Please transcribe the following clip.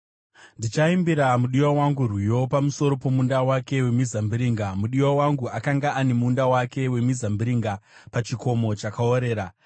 Ndichaimbira mudiwa wangu rwiyo pamusoro pomunda wake wemizambiringa: Mudiwa wangu akanga ane munda wake wemizambiringa, pachikomo chakaorera.